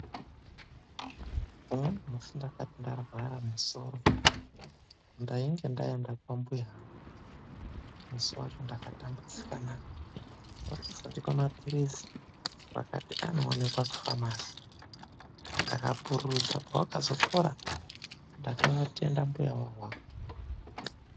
Umweni musi ndakati ndarwara musoro. Ndainge ndaenda kwambuya angu. Musi wacho ndakatambudzika na. Vakazondipa maphirizi vakati anoonekwa kufamasi. Ndakapururudza, pawakazopora, ndakavatenda mbuyavo awawo.